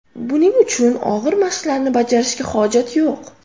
Buning uchun og‘ir mashqlarni bajarishga hojat yo‘q.